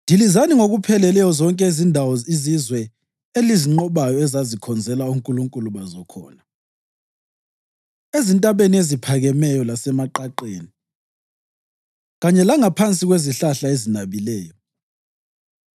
Dilizani ngokupheleleyo zonke izindawo izizwe elizinqobayo ezazikhonzela onkulunkulu bazo khona, ezintabeni eziphakemeyo lasemaqaqeni kanye langaphansi kwezihlahla ezinabileyo.